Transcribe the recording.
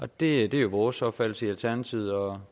det er jo vores opfattelse i alternativet og